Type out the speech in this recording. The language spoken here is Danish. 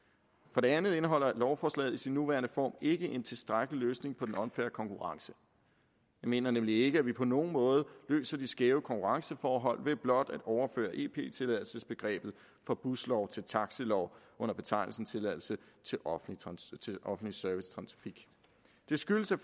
for det andet indeholder lovforslaget i sin nuværende form ikke en tilstrækkelig løsning på den unfair konkurrence jeg mener nemlig ikke at vi på nogen måde løser de skæve konkurrenceforhold ved blot at overføre ep tilladelsesbegrebet fra busloven til taxaloven under betegnelsen tilladelse til offentlig servicetrafik det skyldes at